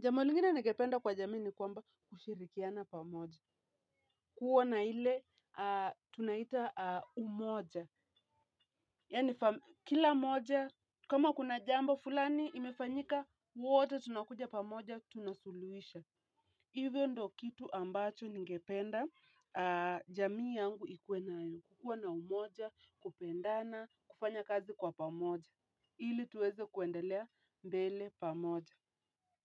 Jambo lingine ningependa kwa jamii ni kwamba kushirikiana pamoja. Kuwa na ile tunaita umoja, yaani kila mmoja, kama kuna jambo fulani imefanyika, wote tunakuja pamoja, tunasuluhisha. Hivyo ndo kitu ambacho ningependa, jamii yangu ikuwe nayo kuwa na umoja, kupendana, kufanya kazi kwa pamoja. Ili tuweze kuendelea mbele pamoja.